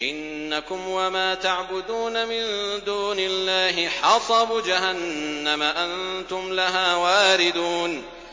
إِنَّكُمْ وَمَا تَعْبُدُونَ مِن دُونِ اللَّهِ حَصَبُ جَهَنَّمَ أَنتُمْ لَهَا وَارِدُونَ